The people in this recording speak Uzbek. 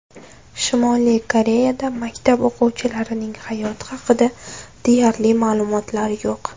Shimoliy Koreyada maktab o‘quvchilarining hayoti haqida deyarli ma’lumotlar yo‘q.